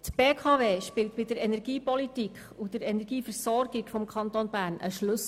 Die BKW spielt bei der Energiepolitik und der Energieversorgung im Kanton Bern eine Schlüsselrolle.